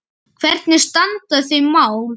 Hvernig standa þau mál?